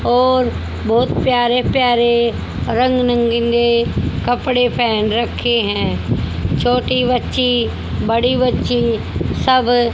और बहोत प्यारे प्यारे रंग नंगिले कपड़े पहन रखे हैं छोटी बच्ची बड़ी बच्ची सब--